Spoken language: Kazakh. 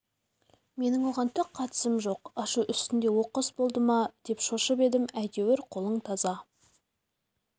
менің оған түк қатысым жоқ ашу үстінде оқыс болды ма деп шошып едім әйтеуір қолың таза